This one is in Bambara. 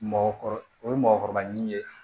Mɔgɔkɔrɔba o ye mɔgɔkɔrɔba ɲini ye